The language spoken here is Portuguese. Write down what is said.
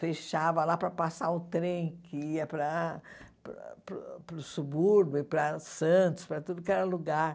Fechava lá para passar o trem que ia para para o para o subúrbio, para Santos, para tudo que era lugar.